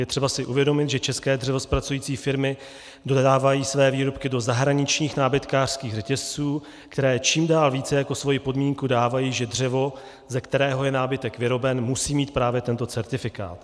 Je třeba si uvědomit, že české dřevozpracující firmy dodávají své výrobky do zahraničních nábytkářských řetězců, které čím dál více jako svoji podmínku dávají, že dřevo, ze kterého je nábytek vyroben, musí mít právě tento certifikát.